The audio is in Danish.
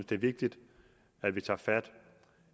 det er vigtigt at vi tager fat